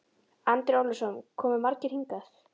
Andri Ólafsson: Komu margir hingað?